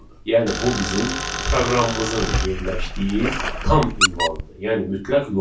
Yəni bu bizim proqramımızın yerləşdiyi tam ünvandır, yəni mütləq yoldur.